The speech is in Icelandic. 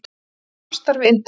Svona var nú samstarfið indælt.